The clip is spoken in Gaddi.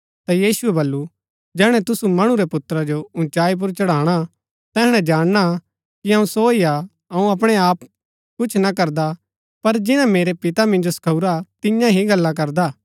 ता यीशुऐ वलु जैहणै तुसू मणु रै पुत्रा जो उँचाई पुर चढ़ाणा तैहणै जाणना कि अऊँ सो ही हा अऊँ अपणै आप कुछ ना करदा पर जिन्‍ना मेरै पितै मिन्जो सखाऊरा तियां ही गल्ला करदा हा